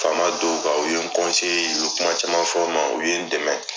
Faama dɔw kan, u ye n . U ye kuma caman fɔ ma. U ye n dɛmɛ.